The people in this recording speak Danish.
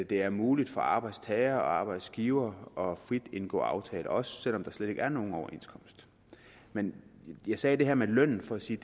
det er muligt for arbejdstagere og arbejdsgivere frit at indgå aftaler også selv om der slet ikke er nogen overenskomst men jeg sagde det her med lønnen for at sige